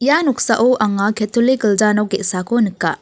ia noksao anga ketolik gilja nok ge·sako nika.